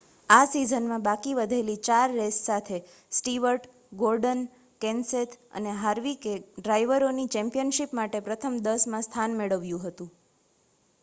આ સિઝનમાં બાકી વધેલી 4 રેસ સાથે સ્ટીવર્ટ ગોર્ડન કેનસેથ અને હાર્વિકે ડ્રાઇવરોની ચેમ્પિયનશિપ માટે પ્રથમ 10માં સ્થાન મેળવ્યું હતું